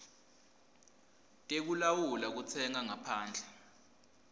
tekulawula kutsenga ngaphandle